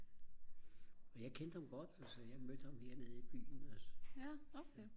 og jeg kendte ham godt altså jeg mødte ham hernede i byen også